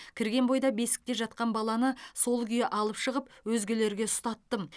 кірген бойда бесікте жатқан баланы сол күйі алып шығып өзгелерге ұстаттым